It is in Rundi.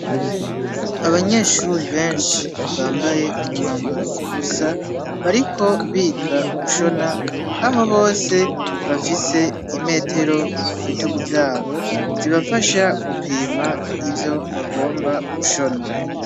Abanyeshuri benshi bambaye umwambaro usa bariko biga gushona aho bose bafise imetero ku bitugu vyabo zibafasha gupima ivyo bagomba gushona.